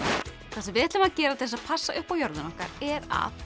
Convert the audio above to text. sem við ætlum að gera til að passa upp á jörðina okkar er að